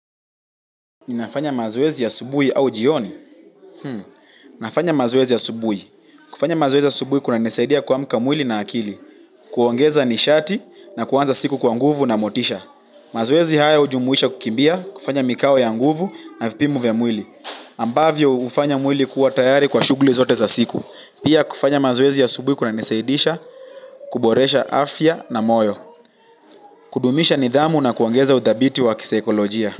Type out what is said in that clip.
Ninafanya mazoezi asubuhi au jioni? Nafanya mazoezi asubuhi. Kufanya mazoezi asubuhi kunanisaidia kuamka mwili na akili. Kuongeza nishati na kuanza siku kwa nguvu na motisha. Mazoezi haya hujumuisha kukimbia, kufanya mikao ya nguvu na vipimo vya mwili. Ambavyo hufanya mwili kuwa tayari kwa shughuli zote za siku. Pia kufanya mazuwezi ya subuhi kuna nisaidisha, kuboresha afya na moyo. Kudumisha nidhamu na kuongeza udhabiti wa kisaikolojia.